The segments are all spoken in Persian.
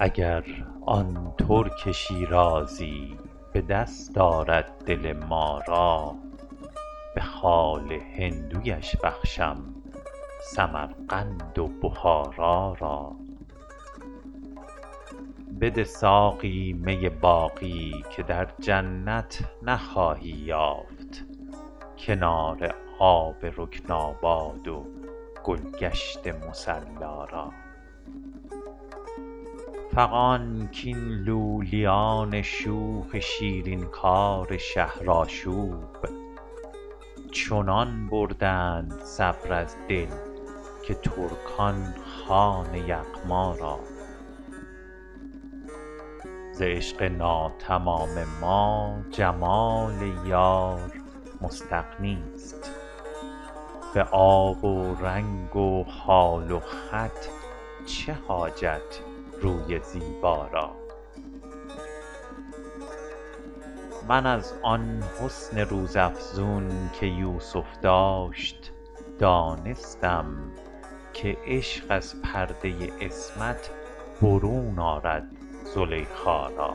اگر آن ترک شیرازی به دست آرد دل ما را به خال هندویش بخشم سمرقند و بخارا را بده ساقی می باقی که در جنت نخواهی یافت کنار آب رکناباد و گل گشت مصلا را فغان کاین لولیان شوخ شیرین کار شهرآشوب چنان بردند صبر از دل که ترکان خوان یغما را ز عشق ناتمام ما جمال یار مستغنی است به آب و رنگ و خال و خط چه حاجت روی زیبا را من از آن حسن روزافزون که یوسف داشت دانستم که عشق از پرده عصمت برون آرد زلیخا را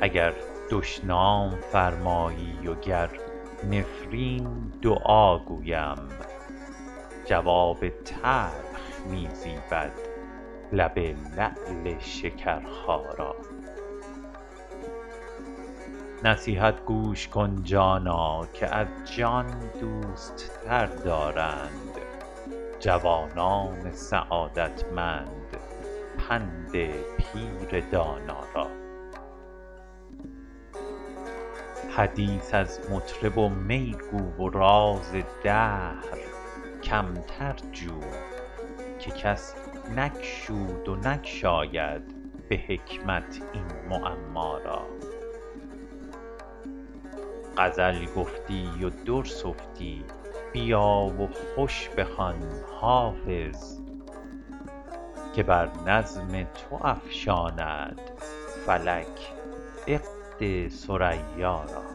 اگر دشنام فرمایی و گر نفرین دعا گویم جواب تلخ می زیبد لب لعل شکرخا را نصیحت گوش کن جانا که از جان دوست تر دارند جوانان سعادتمند پند پیر دانا را حدیث از مطرب و می گو و راز دهر کمتر جو که کس نگشود و نگشاید به حکمت این معما را غزل گفتی و در سفتی بیا و خوش بخوان حافظ که بر نظم تو افشاند فلک عقد ثریا را